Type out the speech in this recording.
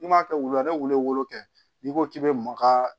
N'i m'a kɛ wulu la i bɛ weele wolo kɛ n'i ko k'i bɛ maka